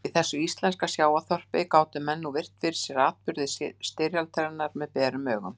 Í þessu íslenska sjávarþorpi gátu menn nú virt fyrir sér atburði styrjaldarinnar með berum augum.